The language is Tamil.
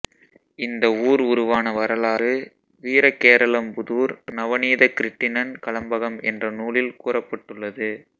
இந்த ஊர் உருவான வரலாறு வீரகேரளம்புதூர் நவநீதகிருட்டிணன் கலம்பகம் என்ற நூலில் கூறப்பட்டுள்ளது